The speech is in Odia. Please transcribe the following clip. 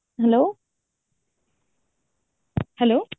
hello hello